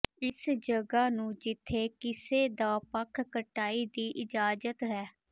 ਇਸ ਜਗ੍ਹਾ ਨੂੰ ਜਿੱਥੇ ਕਿਸੇ ਦਾ ਪੱਖ ਕਟਾਈ ਦੀ ਇਜਾਜ਼ਤ ਹੈ